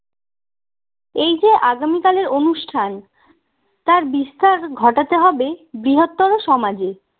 এই যে আগামিকালের অনুষ্ঠান তার বিস্তার ঘটাতে হবে বৃহত্তর সমাজে